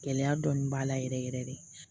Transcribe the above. Gɛlɛya dɔɔnin b'a la yɛrɛ yɛrɛ de